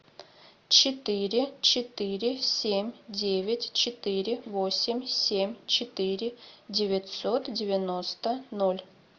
четыре четыре семь девять четыре восемь семь четыре девятьсот девяносто ноль